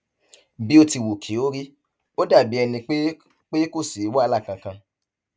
bí ó ti wù kí ó rí ó dàbí ẹni pé pé kò sí wàhálà kankan